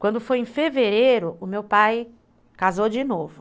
Quando foi em fevereiro, o meu pai casou de novo.